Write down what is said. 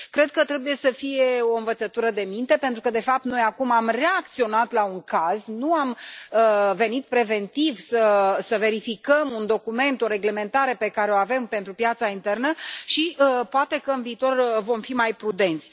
Cred că trebuie să fie o învățătură de minte, pentru că, de fapt, noi acum am reacționat la un caz, nu am venit preventiv să verificăm un document, o reglementare pe care o avem pentru piața internă și poate că, în viitor, vom fi mai prudenți.